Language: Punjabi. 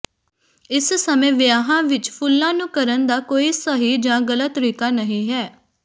ਇਸ ਸਮੇਂ ਵਿਆਹਾਂ ਵਿਚ ਫੁੱਲਾਂ ਨੂੰ ਕਰਨ ਦਾ ਕੋਈ ਸਹੀ ਜਾਂ ਗਲਤ ਤਰੀਕਾ ਨਹੀਂ ਹੈ